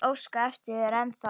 Ég óska eftir þér ennþá.